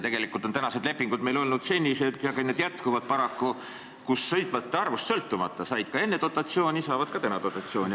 Tegelikult on meil lepingud olnud sellised – ja need jätkuvad paraku –, et sõitjate arvust sõltumata said vedajad enne dotatsiooni ja saavad ka nüüd dotatsiooni.